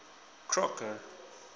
crocker